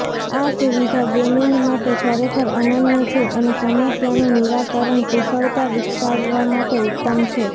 આ સુવિધા ગેમિંગ માટે ખરેખર અનન્ય છે અને સમસ્યાનું નિરાકરણ કુશળતા વિકસાવવા માટે ઉત્તમ છે